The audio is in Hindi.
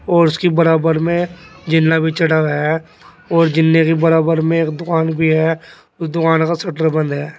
और उसकी बराबर में जीना भी चढ़ा हुआ है और जीने की बराबर में एक दुकान भी है उस दुकान का शटर बंद है।